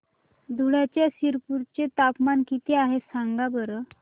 धुळ्याच्या शिरपूर चे तापमान किता आहे सांगा बरं